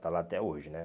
está lá até hoje, né?